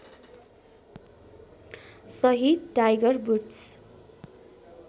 सहित Tiger woods